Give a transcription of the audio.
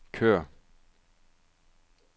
kør